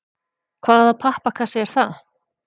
Hvaða pappakassi er það?